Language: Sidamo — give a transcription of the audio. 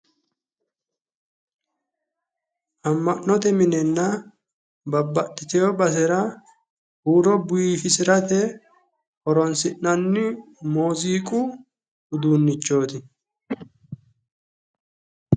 Ama'note minenna babbaxiteo basera huuro biifisirate horoonsi'nanni muuziiqu uduunnichooti.